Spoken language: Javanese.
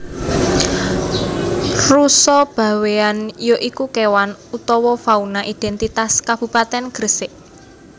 Rusa Bawean ya iku kewan utawa fauna identitas Kabupatèn Gresik